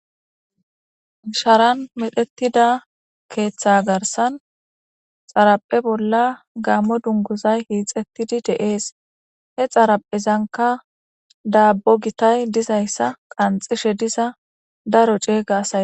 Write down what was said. sharan medhetida keeththa garsan xaraphe bolla gaammo dunguzay hiixettidi deees he xaraphezanka daabbo gitay dizayssa qanxishe diza daro ceega asa